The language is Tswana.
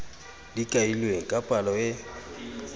di kailweng ka palo e